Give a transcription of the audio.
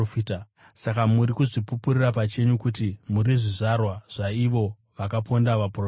Saka muri kuzvipupurira pachenyu kuti muri zvizvarwa zvaivavo vakaponda vaprofita.